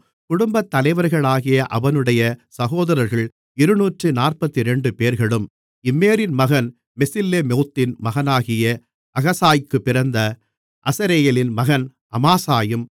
குடும்பத்தலைவர்களாகிய அவனுடைய சகோதரர்கள் இருநூற்று நாற்பத்திரண்டுபேர்களும் இம்மேரின் மகன் மெசில்லேமோத்தின் மகனாகிய அகசாய்க்குப் பிறந்த அசரெயேலின் மகன் அமாசாயும்